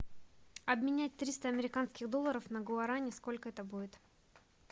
обменять триста американских долларов на гуарани сколько это будет